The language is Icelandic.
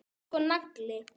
Þú ert sko nagli.